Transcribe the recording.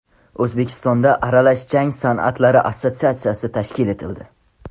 O‘zbekistonda Aralash jang san’atlari assotsiatsiyasi tashkil etildi.